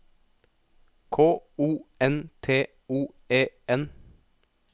K O N T O E N